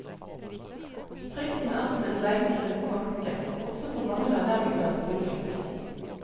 Frykten er som en lenke rundt tanken, også for mange av dem vi kaller skoleflinke.